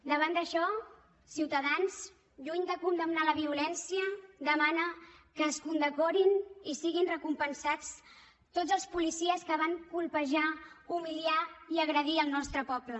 davant d’això ciutadans lluny de condemnar la violència demana que es condecorin i siguin recompensats tots els policies que van colpejar humiliar i agredir el nostre poble